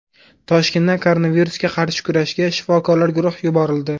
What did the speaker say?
Toshkentdan koronavirusga qarshi kurashga shifokorlar guruhi yuborildi.